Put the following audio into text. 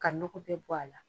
Ka nɔkɔ bɛɛ bɔ a la.